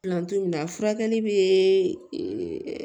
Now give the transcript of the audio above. Filantɔ in na furakɛli be